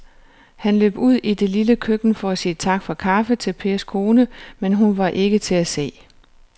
Han løb ud i det lille køkken for at sige tak for kaffe til Pers kone, men hun var ikke til at se.